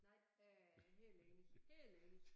Nej øh helt enig helt enig